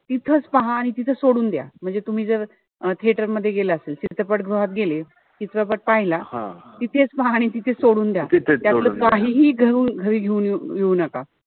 तिथंच पहा आणि तिथंच सोडून द्या. म्हणजे तुम्ही जर अं theater मध्ये गेला असेल. चित्रपट गृहात गेले असेल. चित्रपट पहिला. तिथेच पहा आणि तिथेच सोडून द्या. त्याच्यातलं काहीही घरी घेऊन येऊ नका.